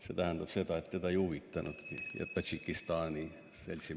See tähendab, et teda ja Tadžikistani seltsimehi see ei huvitanudki.